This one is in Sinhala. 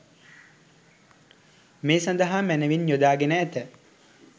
මේ සඳහා මැනවින් යොදා ගෙන ඇත.